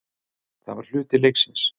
Það var hluti leiksins.